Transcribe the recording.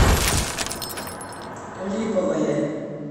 липовое